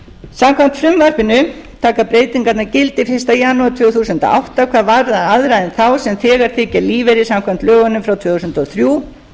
samkvæmt frumvarpinu taka breytingarnar gildi fyrsta janúar tvö þúsund og átta hvað varðar aðra en þá sem þegar þiggja lífeyri samkvæmt lögunum frá tvö þúsund og þrjú